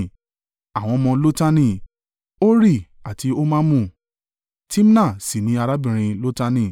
Àwọn ọmọ Lotani: Hori àti Homamu: Timna sì ni arábìnrin Lotani.